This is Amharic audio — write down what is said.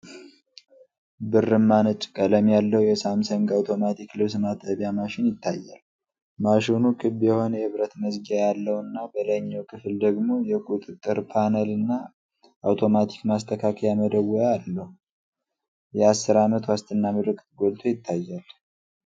ብርማ ነጭ ቀለም ያለው የሳምሰንግ አውቶማቲክ ልብስ ማጠቢያ ማሽን ይታያል። ማሽኑ ክብ የሆነ የብረት መዝጊያ ያለው እና፣ በላይኛው ክፍል ደግሞ የቁጥጥር ፓነልና አውቶማቲክ ማስተካከያ መደወያ አሉ። የአስር ዓመት ዋስትና ምልክት ጎልቶ ይታያል።